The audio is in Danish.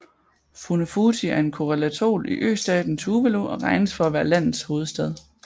Funafuti er en koralatol i østaten Tuvalu og regnes for at være landets hovedstad